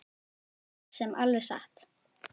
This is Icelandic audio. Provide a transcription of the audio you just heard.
Það er svo sem alveg satt